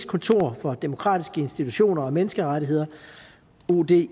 kontor for demokratiske institutioner og menneskerettigheder odihr